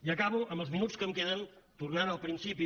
i acabo amb els minuts que em queden tornant al principi